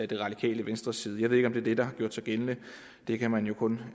det radikale venstres side jeg ved ikke om det er det der har gjort sig gældende det kan man jo kun